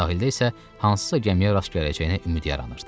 Sahildə isə hansısa gəmiyə rast gələcəyinə ümid yaranırdı.